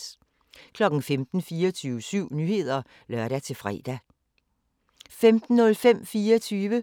15:00: 24syv Nyheder (lør-fre) 15:05: 24